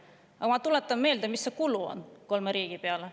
Aga ma tuletan meelde, mis on kulud kolme riigi peale.